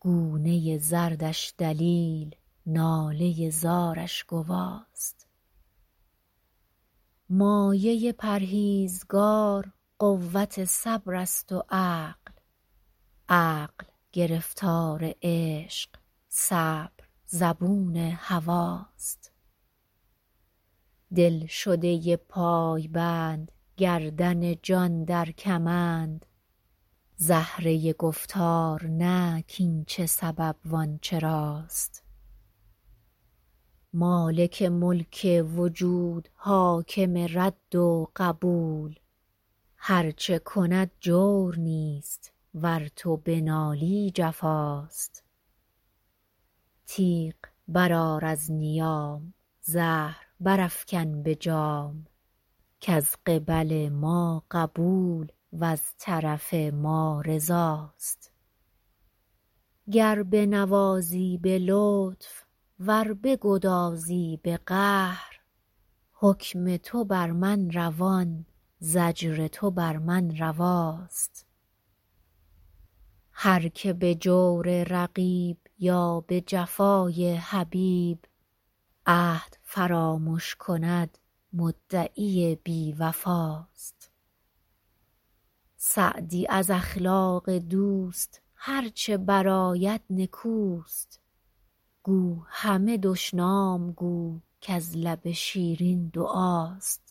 گونه زردش دلیل ناله زارش گواست مایه پرهیزگار قوت صبر است و عقل عقل گرفتار عشق صبر زبون هواست دلشده پایبند گردن جان در کمند زهره گفتار نه کاین چه سبب وان چراست مالک ملک وجود حاکم رد و قبول هر چه کند جور نیست ور تو بنالی جفاست تیغ برآر از نیام زهر برافکن به جام کز قبل ما قبول وز طرف ما رضاست گر بنوازی به لطف ور بگدازی به قهر حکم تو بر من روان زجر تو بر من رواست هر که به جور رقیب یا به جفای حبیب عهد فرامش کند مدعی بی وفاست سعدی از اخلاق دوست هر چه برآید نکوست گو همه دشنام گو کز لب شیرین دعاست